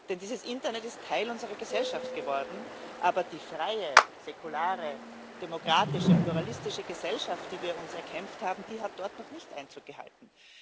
Denn dieses Internet ist Teil unserer Gesellschaft geworden, aber die freie, säkulare, demokratische, pluralistische Gesellschaft, die wir uns erkämpft haben, hat dort noch nicht Einzug gehalten.